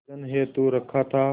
विसर्जन हेतु रखा था